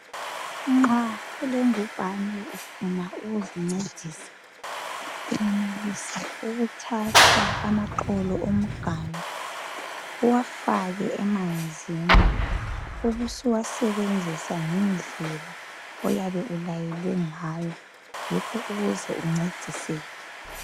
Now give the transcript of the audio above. Nxa ulengubhane ufuna ukuzincedisa uyenelisa ukuthatha amaxolo omganu uwafake emanzini ubusuwasebenzisa ngendlela oyabe ulayelwe ngayo yikho ukuze uncediseke.